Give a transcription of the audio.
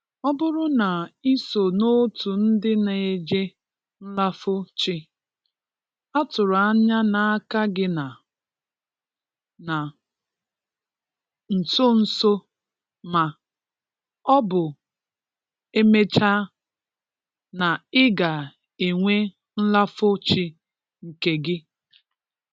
Ọ bụrụ na i so n' òtù ndị na-eje nlafo chi, a tụrụ anya n' aka gị na, na nso nso ma ọ bụ e mechaa, na ị ga-enwe nlafo chi nke gị.